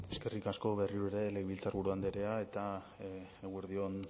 eskerrik asko berriro ere legebiltzarburu andrea eta eguerdi on